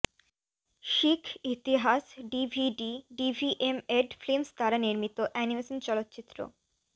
শিখ ইতিহাস ডিভিডি ভিভিএমএড ফিল্মস দ্বারা নির্মিত অ্যানিমেশন চলচ্চিত্র